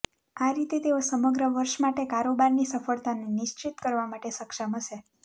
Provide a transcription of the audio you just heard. આ રીતે તેઓ સમગ્ર વર્ષ માટે કારોબારની સફળતાને નિશ્ચિત કરવા માટે સક્ષમ હશે